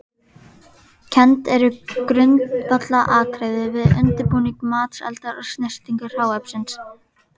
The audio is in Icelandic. Kennd eru grundvallaratriði við undirbúning matseldar og snyrtingu hráefnis.